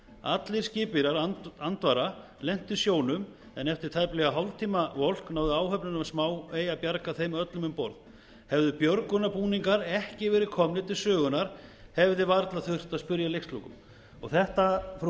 allir skipverjar andvara lentu í sjónum en eftir tæplega hálftíma volk náði áhöfnin á smáey að bjarga þeim öllum um borð hefðu björgunarbúningar ekki verið komnir til sögunnar hefði varla þurft að spyrja að leikslokum þetta frú